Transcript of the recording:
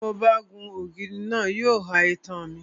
Tí mo bá gun ògiri náà, yóò ha itan mi.